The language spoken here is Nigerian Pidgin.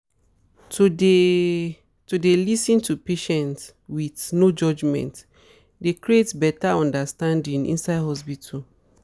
to dey to dey lis ten to patients with no judgement dey create better understanding inside hospitals